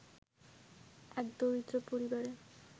এক দরিদ্র পরিবারে